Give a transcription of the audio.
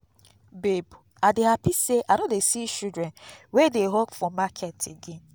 babe i dey happy say i no dey see children wey dey hawk for market again